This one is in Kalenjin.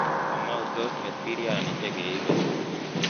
Kamau tos nget biriani chekeibe